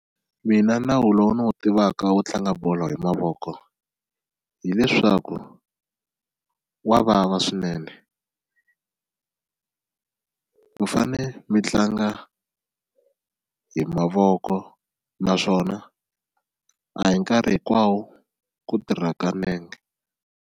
Mina nawu lowu ni wu tivaka wo tlanga bolo hi mavoko hileswaku wa vava swinene mi fane mi tlanga hi mavoko naswona a hi nkarhi hinkwawo ku tirhaka nenge.